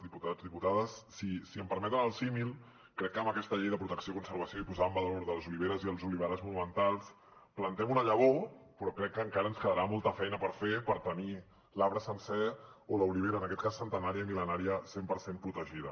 diputats diputades si em permeten el símil crec que amb aquesta llei de protecció i conservació i posada en valor de les oliveres i els oliverars monumentals plantem una llavor però crec que encara ens quedarà molta feina per fer per tenir l’arbre sencer o l’olivera en aquest cas centenària i mil·lenària cent per cent protegida